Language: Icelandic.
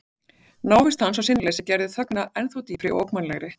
Návist hans og sinnuleysi gerðu þögnina ennþá dýpri og ógnvænlegri.